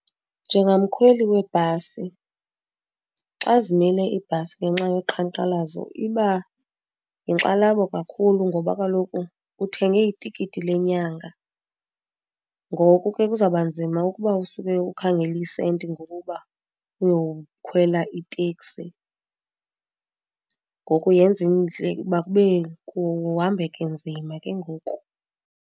Njengamkhweli webhasi xa zimile ibhasi ngenxa yoqhankqalazo iba yinkxalabo kakhulu ngoba kaloku uthenge itikiti lenyanga ngoku ke kuzawuba nzima ukuba usuke ukhangele iisenti ngoku uba uyowukhwela iteksi. Ngoku yenza ukuba kube kuhambeke nzima ke ngoku.